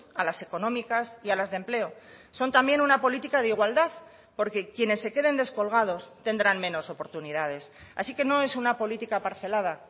a las económicas y a las de empleo son también una política de igualdad porque quienes se queden descolgados tendrán menos oportunidades así que no es una política parcelada